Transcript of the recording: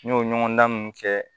N y'o ɲɔgɔn dan ninnu kɛ